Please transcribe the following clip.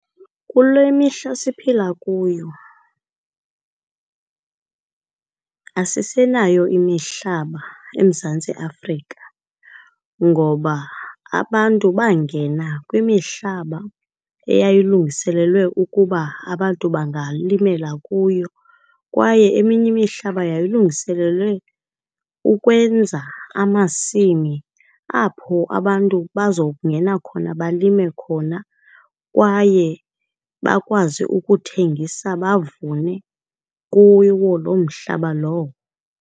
Kule mihla siphila kuyo asisenayo imihlaba eMzantsi Afrika ngoba abantu bangena kwimihlaba eyayilungiselelwe ukuba abantu bangalimela kuyo. Kwaye eminye imihlaba yayilungiselelwe ukwenza amasimi apho abantu bazokungena khona balime khona kwaye bakwazi ukuthengisa bavune kuwo loo mhlaba lowo.